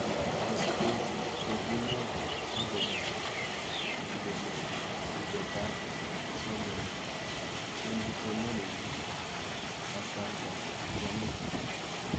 Kasubetab chochinet akobo ibetab somanet eng kipsomanink kasarta yamit gaa